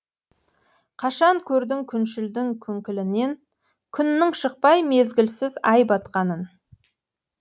қашан көрдің күншілдің күңкілінен күннің шықпай мезгілсіз ай батқанын